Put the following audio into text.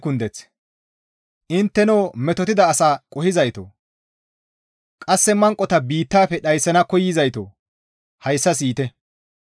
Intteno metotida asa qohizaytoo! Qasse manqota biittafe dhayssana koyzaytoo! Hayssa siyite!